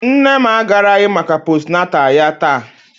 Nne m agaraghị maka postnatal ya taa